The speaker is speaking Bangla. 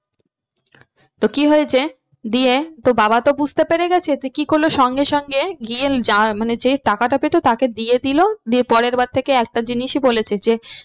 তো কি হয়েছে দিয়ে তো বাবা তো বুঝতে পেরে গেছে কি করলো সঙ্গে সঙ্গে গিয়ে মানে যে টাকাটা পেতো তাকে দিয়ে দিলো দিয়ে পরের বার থেকে একটা জিনিসই বলেছে যে